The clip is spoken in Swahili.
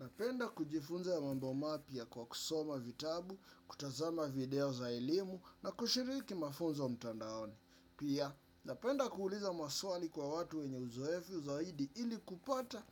Napenda kujifunza mambo mapya kwa kusoma vitabu, kutazama video za elimu na kushiriki mafunzo mtandaoni. Pia, napenda kuuliza maswali kwa watu wenye uzoefu zaidi ili kupata